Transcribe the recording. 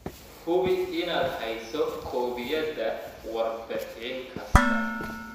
Hubi inaad hayso koobiyada warbixin kasta.